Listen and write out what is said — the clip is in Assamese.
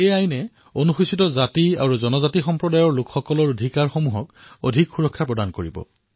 এই আইন এছচি আৰু এছটি সম্প্ৰদায়ৰ হিত অধিক সুৰক্ষিত কৰিব